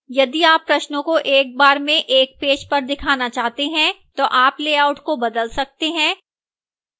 यदि आप प्रश्नों को एक बार में एक पेज पर दिखाना चाहते हैं तो आप लेआउट को बदल सकते हैं